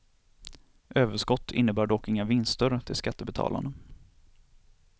Överskott innebär dock inga vinster till skattebetalarna.